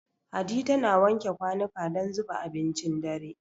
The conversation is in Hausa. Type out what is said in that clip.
Hadi tana wanke kwanuka don zuba abincin dare.